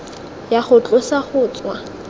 ya go tlosa go tswa